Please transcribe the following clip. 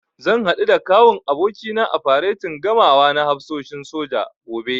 Zan haɗu da Kawun abokina a faretin gamawa na hafsoshin soja, gobe.